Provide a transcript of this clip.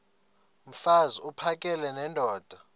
mfaz uphakele nendoda